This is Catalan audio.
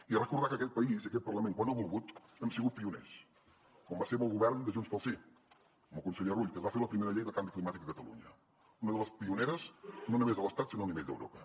i recordar que aquest país i aquest parlament quan hem volgut hem sigut pioners com ho vam ser amb el govern de junts pel sí amb el conseller rull que es va fer la primera llei de canvi climàtic a catalunya una de les pioneres no només a l’estat sinó a nivell d’europa